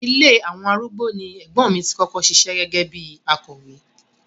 Ilé àwọn arúgbó ni ẹ̀gbọ́n mi tí kọ́kọ́ ṣiṣẹ́ gẹ́gẹ́ bíi akọ̀wé.